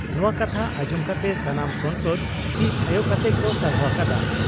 ᱱᱚᱣᱟ ᱠᱟᱛᱷᱟ ᱟᱸᱡᱚᱢ ᱠᱟᱛᱮ ᱥᱟᱱᱟᱢ ᱥᱚᱝᱥᱚᱫ ᱛᱤ ᱛᱷᱟᱭᱚ ᱠᱟᱛᱮ ᱠᱚ ᱥᱟᱨᱦᱟᱣ ᱟᱠᱟᱫᱼᱟ ᱾